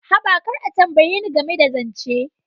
Haba, kar a tambaye ni game da zance.